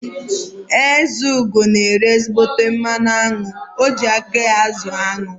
Ezeugo na ere ezígbóté mmanụ aṅụ, o ji aka ya azụ aṅụ